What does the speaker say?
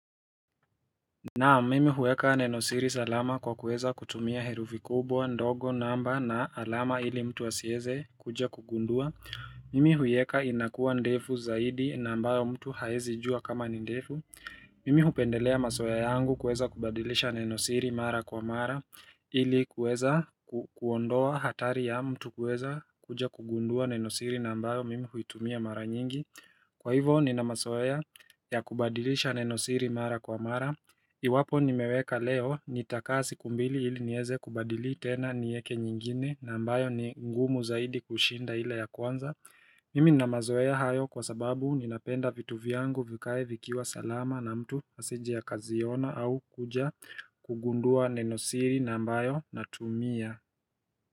Naam, mimi huweka nenosiri salama kwa kuweza kutumia herufi kubwa, ndogo, namba, na alama ili mtu asiweze kuja kugundua Mimi huiweka inakuwa ndefu zaidi na ambayo mtu hawezi jua kama ni ndefu Mimi hupendelea mazoea yangu kuweza kubadilisha nenosiri mara kwa mara ili kuweza kuondoa hatari ya mtu kuweza kuja kugundua nenosiri na ambayo mimi huitumia mara nyingi. Kwa hivo nina mazoea ya kubadilisha nenosiri mara kwa mara Iwapo nimeweka leo, nitakaa siku mbili ili niweze kubadili tena nieke nyingine na ambayo ni ngumu zaidi kushinda ila ya kwanza Mimi nina mazoea hayo kwa sababu ninapenda vitu vyangu vikae vikiwa salama na mtu asije akaziona au kuja kugundua nenosiri na ambayo natumia.